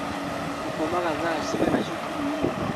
Mũkomaga thaa cigana cukuruinĩ?